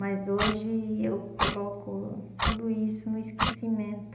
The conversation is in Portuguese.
Mas hoje eu coloco tudo isso no esquecimento.